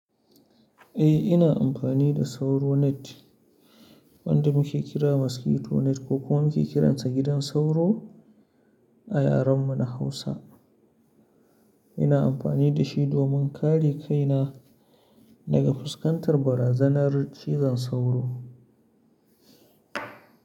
Eh, ina amfani da sauro net wanda muke kira mosquito net ko kuma muke kiransa gidan sauro a yaren mu na Hausa. Ina amfani da shi domin kare kaina daga fuskantar barazanar cizon sauro.